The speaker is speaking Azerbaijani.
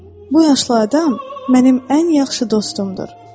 Bu yaşlı adam mənim ən yaxşı dostumdur.